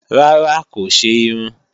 Rárá, kò ṣe irun